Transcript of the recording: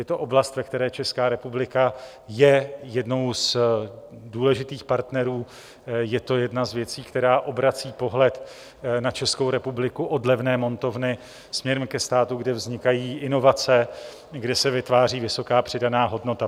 Je to oblast, ve které Česká republika je jednou z důležitých partnerů, je to jedna z věcí, která obrací pohled na Českou republiku od levné montovny směrem ke státům, kde vznikají inovace, kde se vytváří vysoká přidaná hodnota.